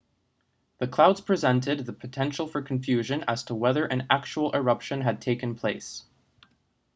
the clouds presented the potential for confusion as to whether an actual eruption had taken place